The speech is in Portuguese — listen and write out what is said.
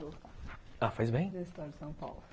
Ah, faz bem, né.